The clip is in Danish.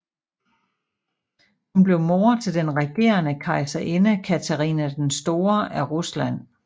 Hun blev mor til den regerende kejserinde Katharina den Store af Rusland